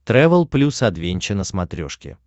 трэвел плюс адвенча на смотрешке